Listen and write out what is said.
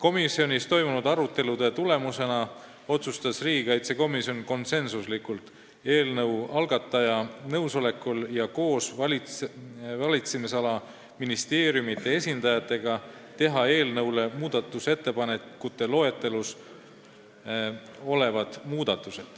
Oma istungitel toimunud arutelude tulemusena otsustas riigikaitsekomisjon eelnõu algataja nõusolekul ja koos valitsemisala ministeeriumide esindajatega teha eelnõus muudatused, mis on muudatusettepanekute loetelus.